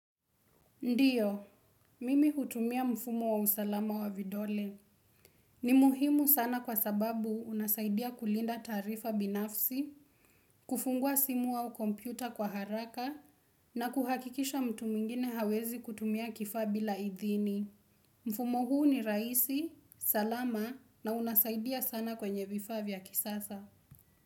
Ndiyo, mimi hutumia mfumo wa usalama wa vidole. Ni muhimu sana kwa sababu unasaidia kulinda taarifa binafsi, kufungua simu au kompyuta kwa haraka, na kuhakikisha mtu mwengine hawezi kutumia kifaa bila idhini. Mfumo huu ni raisi, salama, na unasaidia sana kwenye vifaa vya kisasa.